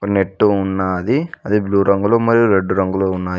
Net ఉన్నాది అది blue రంగులో మరియు రెడ్ రంగులో ఉన్నాయి.